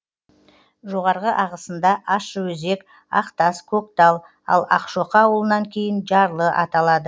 жоғарғы ағысында ащыөзек ақтас көктал ал ақшоқы ауылынан кейін жарлы аталады